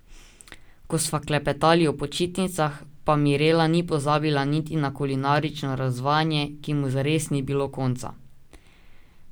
Ko sva klepetali o počitnicah, pa Mirela ni pozabila niti na kulinarično razvajanje, ki mu zares ni bilo konca.